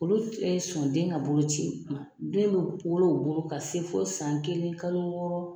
Olu tɛ sɔn den ka boloci ma den bɛ wolo u bolo ka se fo san kelen kalo wɔɔrɔ.